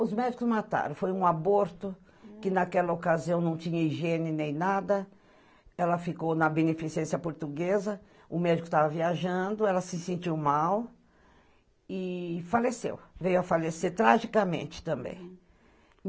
Os médicos mataram, foi um aborto que naquela ocasião não tinha higiene nem nada, ela ficou na beneficência portuguesa, o médico estava viajando, ela se sentiu mal e faleceu, veio a falecer tragicamente também.